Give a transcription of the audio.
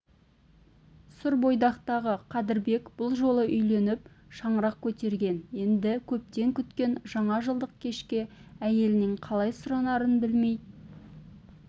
сүрбойдақтағы қадырбек бұл жолы үйленіп шаңырақ көтерген енді көптен күткен жаңажылдық кешке әйелінен қалай сұранарын білмей